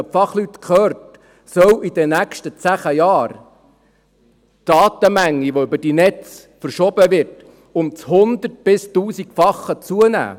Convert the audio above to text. Wenn man die Fachleute hört, soll in den nächsten zehn Jahren die Datenmenge, die über die Netze verschoben wird, um das 100- bis 1000-fache zunehmen.